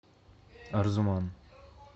арзуман